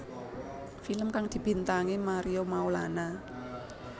Film kang dibintangi Mario Maulana